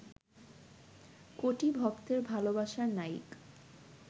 কোটি ভক্তের ভালবাসার নায়িক